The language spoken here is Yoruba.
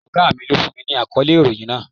Ògá mi lọ fún mi ní àkọ́lé ìròhìn náà.